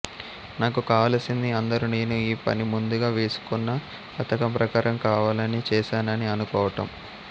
నాకు కావలిసింది అందరూ నేను ఈ పని ముందుగా వేసుకొన్న పథకం ప్రకారం కావాలని చేసానని అనుకోవటం